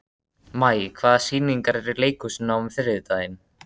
Maj, hvaða sýningar eru í leikhúsinu á þriðjudaginn?